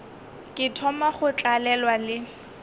ke thoma go tlalelwa le